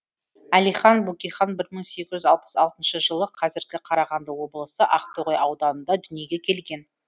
әлихан бөкейхан бір мың сегіз жүз алпыс алтыншы жылы қазіргі қарағанды облысы ақтоғай ауданында дүниеге келген